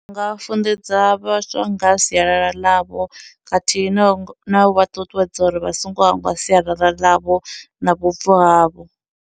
Ndi nga funḓedza vhaswa ngaha sialala ḽavho, khathihi no ngo na u vha ṱuṱuwedza uri vha songo hangwa sialala ḽavho na vhubvo havho.